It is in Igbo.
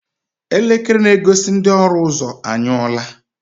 Elekere na-egosi ndị ọrụ ụzọ anyụọla.